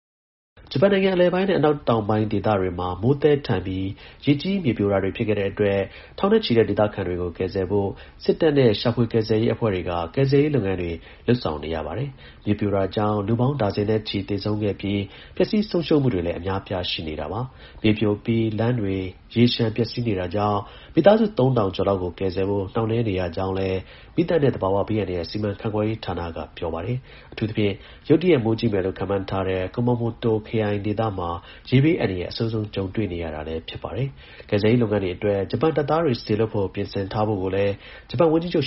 ဂျပန်နိုင်ငံအလယ်ပိုင်းနဲ့ အနောက်တောင်ပိုင်း ဒေသတွေမှာ မိုးသည်းထန်ပြီး ရေကြီး၊ မြေပြိုတာတွေဖြစ်ခဲ့တဲ့ အတွက် ထောင်နဲ့ချီတဲ့ ဒေသခံတွေကို ကယ်ဆယ်ဖို့ စစ်တပ်နဲ့ ရှာဖွေကယ်ဆယ်ရေး အဖွဲ့တွေ မနေ့က ဆောင်ရွက်နေပါတယ်။ မြေပြိုတာကြောင့် လူပေါင်း ဒါဇင်နဲ့ ချီ သေဆုံးခဲ့ပြီး ပျက်စီးဆုံးရှုံးမှုတွေလည်း အများအပြားရှိနေတာပါ။ မြေပြိုပြီးလမ်းတွေ ရေလျှံ၊ ပျက်စီးနေတာကြောင့် မိသားစု ၃၀၀၀ ကျော်လောက်ကိုကယ်ဆယ်ဖို့ နှောင့်နှေးနေရကြောင်းလည်း မီးသတ် နဲ့သဘာဝဘေးအန္တရာယ် စီမံခန့်ခွဲရေးဌာနက ပြောပါတယ်။ အထူးသဖြင့် ရုတ်တရက် မိုးကြီးမယ်လို့ ခန့်မှန်းထား တဲ့ Kumamoto ပြည်နယ်မှာ ရေဘေး အန္တရာယ် အဆိုးဆုံး ကြုံနေရတာလည်း ဖြစ်ပါတယ်။ ကယ်ဆယ်ရေးလုပ်ငန်းအတွက် ဂျပန်တပ်သားတွေ စေလွှတ်ဖို့ ပြင်ဆင်ထားဖို့လည်း ဂျပန် ဝန်ကြီးချုပ်